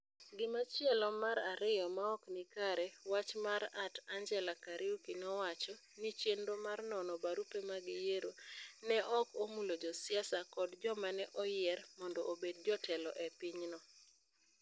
Gimachielo mar ariyo ma ok ni kare, wach ma @AngellahKairuki nowacho ni chenro mar nono barupe mag yiero ne ok omulo josiasa kod joma ne oyier mondo obed jotelo e pinyno.